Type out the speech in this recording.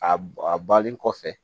A a bannen kɔfɛ